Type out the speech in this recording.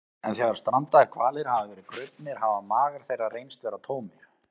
en þegar strandaðir hvalir hafa verið krufnir hafa magar þeirra reynst vera tómir